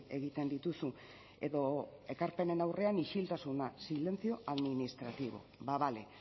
egiten dituzu edo ekarpenen aurrean isiltasuna silencio administrativo ba bale